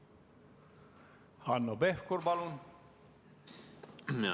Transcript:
Hanno Pevkur, palun!